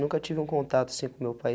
Nunca tive um contato assim com meu pai.